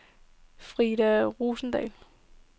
Frida Rosendahl